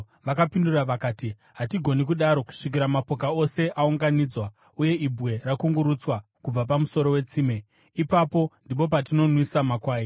Vakapindura vakati, “Hatigoni kudaro kusvikira mapoka ose aunganidzwa uye ibwe rakungurutswa kubva pamuromo wetsime. Ipapo ndipo patinozonwisa makwai.”